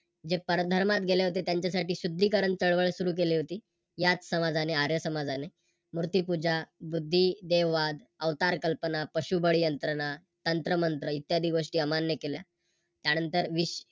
जे परधर्मात गेले होते त्यांच्यासाठी शुद्धीकरण चळवळ सुरू केली होती. याच समाजाने आर्य समाजाने मूर्तिपूजा, बुद्धीदेववाद, अवतार कल्पना, पशुबळी यंत्रणा, तंत्र मंत्र इत्यादी गोष्टी अमान्य केल्या. त्यानंतर